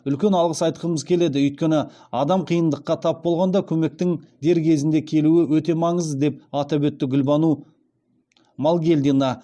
үлкен алғыс айтқымыз келеді өйткені адам қиындыққа тап болғанда көмектің дер кезінде келуі өте маңызды деп атап өтті гүлбану малгелдина